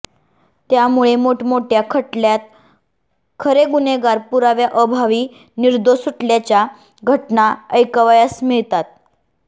त्यामुळे मोठमोठय़ा खटल्यात खरे गुन्हेगार पुराव्याअभावी निर्दोष सुटल्याच्या घटना ऐकावयास मिळतात